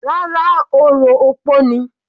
Rárá, orò opó ni.